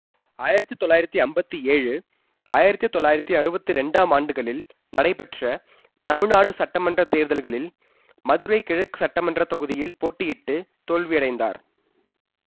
ஆயிரத்தி தொள்ளாயிரத்தி ஐம்பத்தி ஏழு ஆயிரத்தி தொள்ளாயிரத்தி அறுவத்தி இரண்டாம் ஆண்டுகளில் நடைபெற்ற தமிழ்நாடு சட்டமன்ற தேர்தல்களில் மதுரை கிழக்கு சட்டமன்ற தொகுதியில் போட்டியிட்டு தோல்வியடைந்தார்